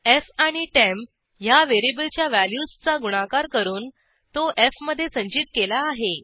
F आणि temp ह्या व्हेरिएबलच्या व्हॅल्यूजचा गुणाकार करून तो एफ मधे संचित केला आहे